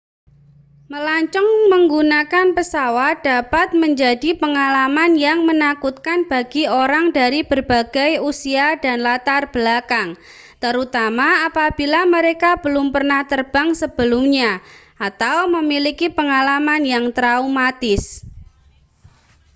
melancong menggunakan pesawat dapat menjadi pengalaman yang menakutkan bagi orang dari berbagai usia dan latar belakang terutama apabila mereka belum pernah terbang sebelumnya atau memiliki pengalaman yang traumatis